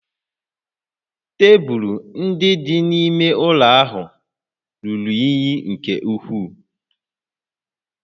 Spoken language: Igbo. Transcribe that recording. Tebụl ndị dị n'ime ụlọ ahụ ruru unyi nke ukwuu